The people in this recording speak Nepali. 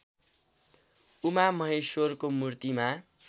उमामहेश्वरको मूर्तिमा